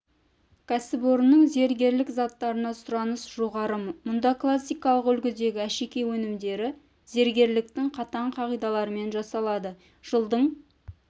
кәсіпорынның зергерлік заттарына сұраныс жоғары мұнда классикалық үлгідегі әшекей өнімдері зергерліктің қатаң қағидаларымен жасалады жылдың